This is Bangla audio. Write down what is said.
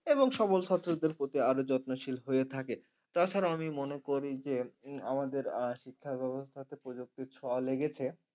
এবং সবল ছাত্রদের প্রতি আরো যত্নশীল হয়ে থাকে তাছাড়া আমি মনে করি যে উম আমাদের আহ শিক্ষা ব্যবস্থাতে প্রযুক্তির ছোঁয়া লেগেছে।